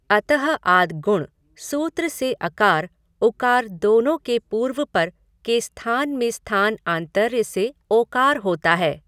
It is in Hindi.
अतः आद् गुणः सूत्र से अकार, उकार दोनों के पूर्व पर के स्थान में स्थान आन्तर्य से ओकार होता है।